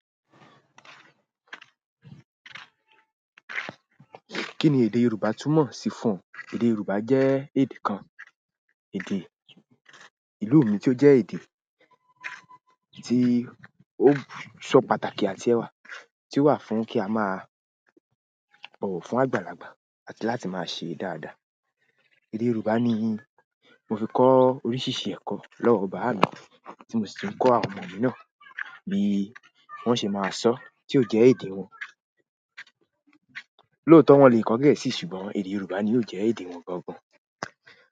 Kí ni èdè Yorùbá túmọ̀ sí fún un? Èdè Yorùbá jẹ́ èdè kan, èdè ìlú mi tí ó jẹ́ èdè tí ó ṣọ́ pàtàkì àti ẹwà, tí ó wà fún kí a máa bọ̀wọ̀ fún àgbàlagbà àti láti máa ṣe dáadáa. Èdè Yorùbá ni mo fi kọ oríṣiríṣi ẹ̀kọ́ lọ́wọ́ bàámi, tí mo sì ti ń kọ àwọn ọmọ mi náà bí wọ́n ṣé máa sọ tí ó jẹ́ èdè wọn. Lóòótọ́ wọ́n le kọ Gẹ̀ẹ́sì ṣùgbọ́n èdè Yorùbá ni ó jẹ́ èdè wọn gangan.